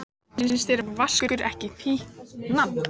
Finnst þér Vaskur ekki fínt nafn?